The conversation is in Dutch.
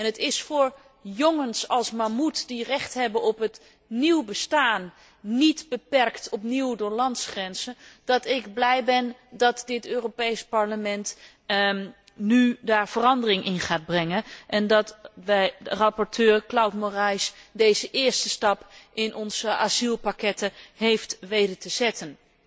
Het is voor jongens als Mamuth die recht hebben op een nieuw bestaan, niet opnieuw door landsgrenzen, dat ik blij ben dat dit Europees Parlement daar nu verandering in gaat brengen en dat rapporteur Claude Moraes deze eerste stap in onze asielpakketten heeft weten te zetten.